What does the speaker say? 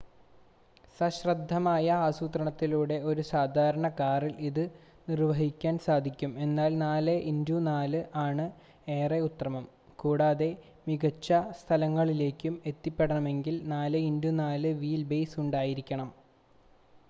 സശ്രദ്ധമായ ആസൂത്രണത്തിലൂടെ ഒരു സാധാരണ കാറിൽ ഇത് നിർവ്വഹിക്കാൻ സാധിക്കും എന്നാൽ 4x4 ആണ് ഏറെ ഉത്തമം കൂടാതെ മിക്ക സ്ഥലങ്ങളിലേക്കും എത്തിപ്പെടണമെങ്കിൽ 4x4 വീൽ ബേസ് ഉണ്ടായിരിക്കണം